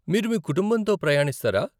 మీరు మీ కుటుంబంతో ప్రయాణిస్తారా?